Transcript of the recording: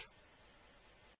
শুভবিদায়